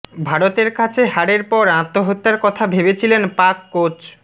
ভারতের কাছে হারের পরে আত্মহত্যার কথা ভেবেছিলেন পাক কোচ